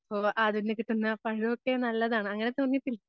അതീന്ന് കിട്ടുന്ന പഴൊക്കെ നല്ലതാണ് അങ്ങനെ